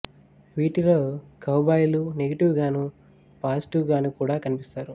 వీటిలో కౌబాయ్ లు నెగిటివ్ గానూ పాజిటివ్ గానూ కూడా కనిపిస్తారు